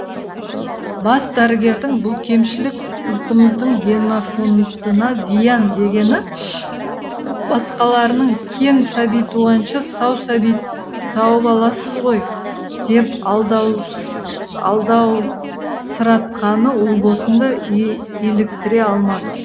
бас дәрігердің бұл кемшілік ұлтымыздың генофондына зиян дегені басқаларының кем сәби туғанша сау сәби тауып аласыз ғой деп алдаусыратқаны ұлбосынды иліктіре алмады